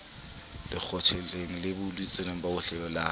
lekgotleng le buletsweng bohle la